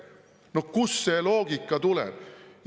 No kust see loogika tuleb?